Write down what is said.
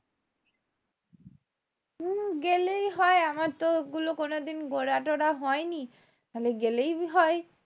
হম গেলেই হয় আমার তো ওগুলো কোনোদিন ঘোরা টোরা হয় নি গেলেই হয়